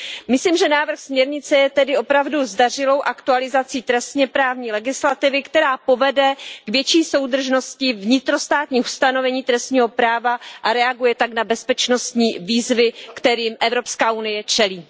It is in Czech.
Myslím, že návrh směrnice je tedy opravdu zdařilou aktualizací trestněprávní legislativy, která povede k větší soudržnosti vnitrostátních ustanovení trestního práva, a reaguje tak na bezpečnostní výzvy, kterým Evropská unie čelí.